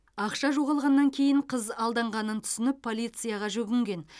ақша жоғалғаннан кейін қыз алданғанын түсініп полицияға жүгінген